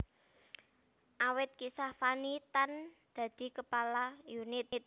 Awit Kisah Fanny Tan dadi Kepala unit